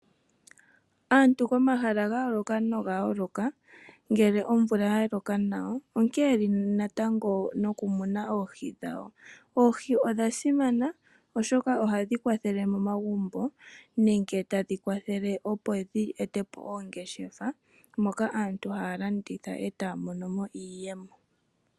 Aantu komahala gayooloka noga yooloka, ngele omvula yaloka nawa, onkene yeli natango nokumuna oohi dhawo. Oohi odha simana, oshoka ohadhi kwathele momagumbo nenge tadhi kwathele, opo dhi etepo oongeshefa, moka aantu haya landitha, e taya mono mo iiyemo.